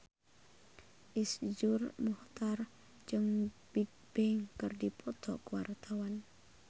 Iszur Muchtar jeung Bigbang keur dipoto ku wartawan